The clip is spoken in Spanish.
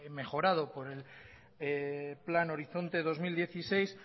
mejorado por el plan horizonte dos mil dieciséis